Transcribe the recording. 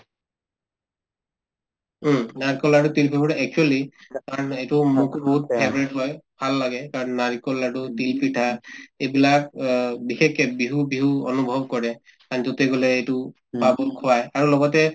উম, নাৰিকলৰ লাদ্দু তিল actually এইটো মোক মোৰ favorite হয় ভাল লাগে কাৰণ নাৰিকল লাদ্দু তিলপিঠা এইবিলাক অ বিশেষকে বিহু বিহু অনুভৱ কৰে এইটো খোৱাই আৰু লগতে